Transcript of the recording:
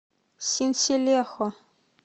синселехо